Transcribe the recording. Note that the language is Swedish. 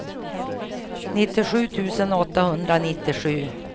nittiosju tusen åttahundranittiosju